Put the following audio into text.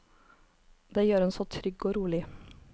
Det gjør en så trygg og rolig.